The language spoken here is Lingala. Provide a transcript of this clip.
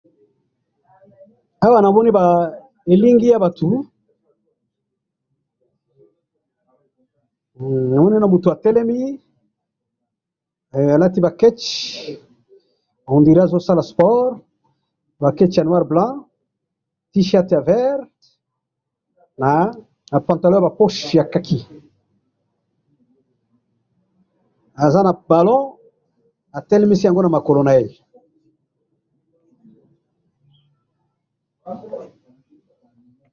Awa namoni elingi ya batu ,namoni na mutu atelemi alati ba ketch on dirait azo sala sport ,ba ketch ya noir blanc T-shirt ya vert na pantalon ya khaki aza na ballon atelemisi yango na makolo na ye